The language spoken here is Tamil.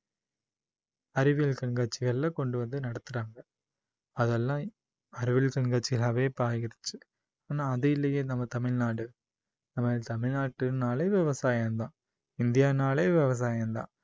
அறிவியல் கண்காட்சிகளில கொண்டு வந்து நடத்துறாங்க. அதெல்லாம் அறிவியல் கண்காட்சிகளாவே இப்போ ஆகிடுச்சு ஆனா அது இல்லையே நம்ம தமிழ்நாடு. நம்ம தமிழ்நாடுன்னாலே விவசாயம் தான். இந்தியான்னாலே விவசாயம் தான்